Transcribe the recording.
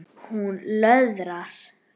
Hún löðrar.